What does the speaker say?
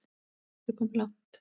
Hvað ertu komin langt?